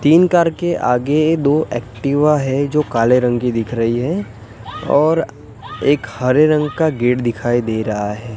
तीन कार के आगे दो एक्टिवा है जो काले रंग की दिख रही है और एक हरे रंग का गेट दिखाई दे रहा है।